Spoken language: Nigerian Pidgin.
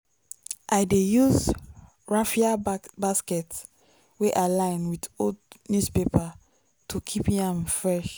i dey use raffia basket wey i line with old newspaper to keep yam fresh.